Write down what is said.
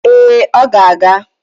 Ee, ọ ga-aga